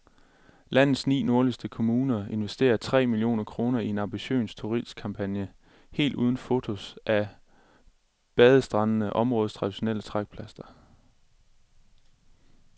Landets ni nordligste kommuner investerer tre millioner kroner i en ambitiøs turistkampagne helt uden fotos af bandestrande, områdets traditionelle trækplaster.